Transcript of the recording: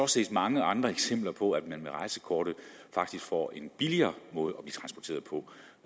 set mange andre eksempler på at man med rejsekortet faktisk får en billigere måde